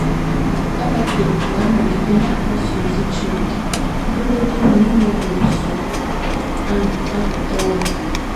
Habakuk ga - anọgide na - akpọsa ozi Chineke ọ bụrụgodị na ime otú ahụ apụta ọnwụ.